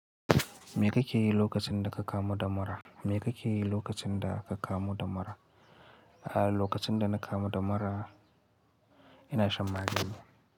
Me kake yi lokacin da ka kama damara? Me kake yi lokacin da ka kama damara? A lokacin da na kama damara, ina shan magani.